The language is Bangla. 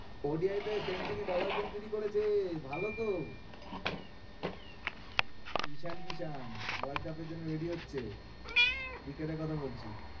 ODI তে century double century করেছে, ভালো তো ঈশান কিশান world cup এর জন্য ready হচ্ছে cricket এর কথা বলছি।